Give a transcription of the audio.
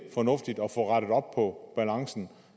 fornuftigt at få rettet op på balancen